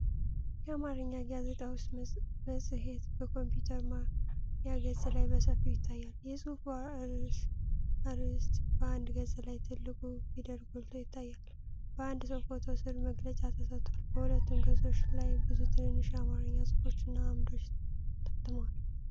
የአማርኛ ጋዜጣ ወይም መጽሔት በኮምፒዩተር ማያ ገጽ ላይ በሰፊው ይታያል። የጽሑፉ አርዕስት በአንድ ገጽ ላይ ትልቁ ፊደል ጎልቶ ይታያል፤ በአንድ ሰው ፎቶ ሥር መግለጫ ተሰጥቷል። በሁለቱም ገጾች ላይ ብዙ ትንንሽ የአማርኛ ጽሑፎች እና አምዶች ታትመዋል።